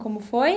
Como foi?